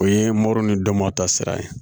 O ye moru ni dɔ mɔw ta sira ye